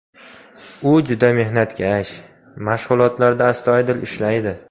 U juda mehnatkash, mashg‘ulotlarda astoydil ishlaydi.